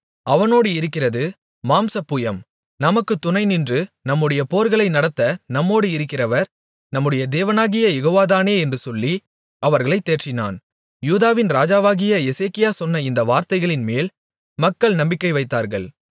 அவனோடு இருக்கிறது மாம்ச புயம் நமக்குத் துணைநின்று நம்முடைய போர்களை நடத்த நம்மோடு இருக்கிறவர் நம்முடைய தேவனாகிய யெகோவாதானே என்று சொல்லி அவர்களைத் தேற்றினான் யூதாவின் ராஜாவாகிய எசேக்கியா சொன்ன இந்த வார்த்தைகளின்மேல் மக்கள் நம்பிக்கை வைத்தார்கள்